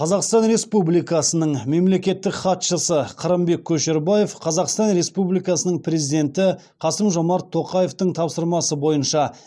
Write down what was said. қазақстан республикасының мемлекеттік хатшысы қырымбек көшербаев қазақстан республикасының президенті қасым жомарт тоқаевтың тапсырмасы бойынша